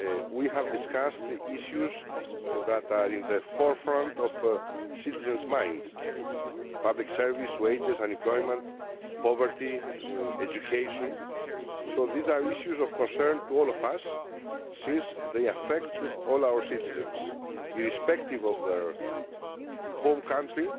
We have discussed the issues which are in the forefront of citizens' minds public services, wages, unemployment, poverty and education. These are issues of concern to all of us, since they affect all our citizens irrespective of their home country.